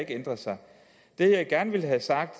ændret sig det jeg gerne ville have sagt